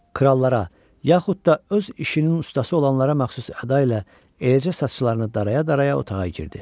Krallara, yaxud da öz işinin ustası olanlara məxsus əda ilə, eləcə saçlarını daraya-daraya otağa girdi.